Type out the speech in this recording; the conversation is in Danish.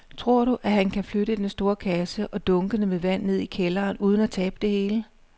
Tror du, at han kan flytte den store kasse og dunkene med vand ned i kælderen uden at tabe det hele?